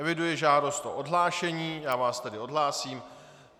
Eviduji žádost o odhlášení, já vás tedy odhlásím.